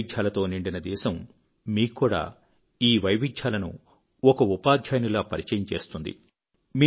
వైవిధ్యాలతో నిండిన దేశం మీక్కూడా ఈ వైవిధ్యాలను ఒక ఉపాధ్యాయునిలా పరిచయం చేస్తుంది